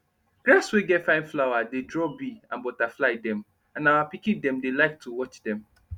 grass wey get fine flower dey draw bee and butterfly dem and our pikin dem dey like to watch dem